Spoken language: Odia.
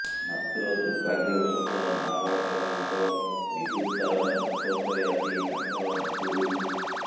ମାତ୍ର ଦୁର୍ଭାଗ୍ୟବଶତଃ ନାବାଳକ ଜଣଙ୍କ ବିଦ୍ୟୁତ ତାର ସଂସ୍ପର୍ଶରେ ଆସି ତାଙ୍କର ମୃତ୍ୟୁ ହୋଇଛି